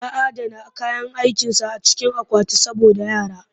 Ya adana kayan aikinsa a cikin akwati saboda yara